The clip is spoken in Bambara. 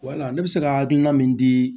Wala ne bɛ se ka hakilina min di